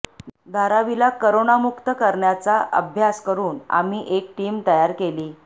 धारावीला करोनामुक्त करण्याचा अभ्यास करून आम्ही एक टीम तयार केली